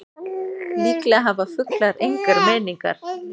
Líklega hafa fuglar engar meiningar.